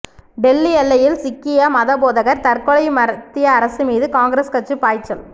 டெல்லி எல்லையில் சீக்கிய மதபோதகர் தற்கொலை மத்திய அரசு மீது காங்கிரஸ் கட்சி பாய்ச்சல்